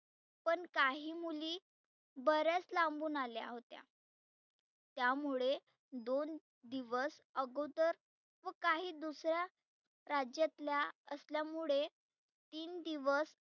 पण काही मुली बर्याच लांबुन आल्या होत्या. त्यामुळे दोन दिवस अगोदर व काही दुसर्या राज्यातल्या असल्यामुळे तीन दिवस